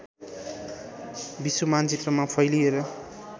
विश्व मानचित्रमा फैलिएर